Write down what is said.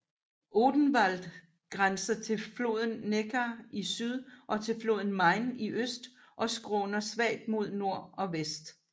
Odenwald grænser til floden Neckar i syd og til floden Main i øst og skråner svagt mod nord og vest